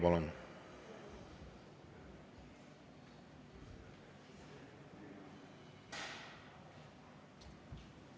Kolm minutit lisaaega, palun!